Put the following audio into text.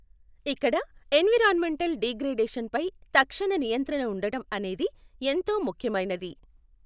ఇక్కడ environmental degradation పై తక్షణ నియంత్రణ ఉండటం అనేది ఎంతో ముఖ్యమైనది.